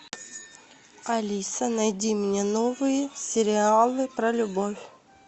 алиса найди мне новые сериалы про любовь